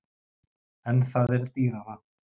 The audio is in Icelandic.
En það er dýrara.